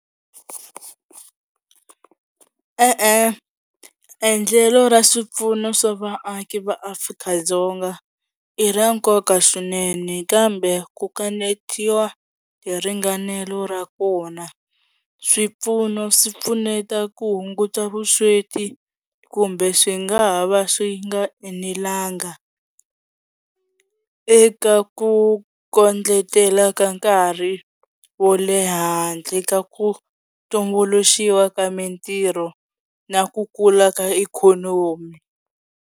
E-e endlelo ra swipfuno swa vaaki va Afrika-Dzonga i ra nkoka swinene kambe ku kanetiwa hi ringanelao ra kona swipfuno swi pfuneta ku hunguta vusweti kumbe swi nga ha va swi nga enelanga eka ku kondletela ka nkarhi wo le handle ka ku tumbuluxiwa ka mintirho na ku kula ka ikhonomi.